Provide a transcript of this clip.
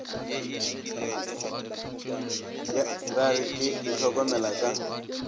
ra ge ke itlhokomela ka